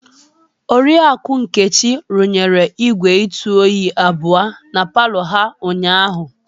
Oriakụ Nkechi rụnyere igwé Itu oyi abụọ na palọ ha ụnyahụ.